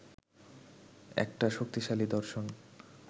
একটা শক্তিশালী দর্শন